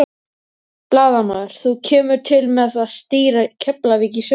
Blaðamaður: Þú kemur til með að stýra Keflavík í sumar?